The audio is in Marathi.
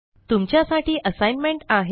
तुमच्या साठी assignmentआहे